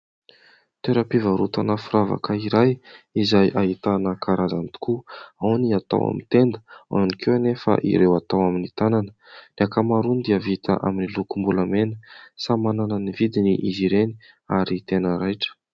Toeram-pivarotana firavaka iray izay ahitana karazany tokoa. Ao ny atao amin'ny tenda, ao ihany koa anefa ireo atao amin'ny tànana. Ny ankamaroany dia vita amin'ny lokom-bolamena, samy manana ny vidiny izy ireny ary tena raitra.